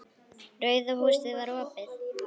Rauða húsið var opið.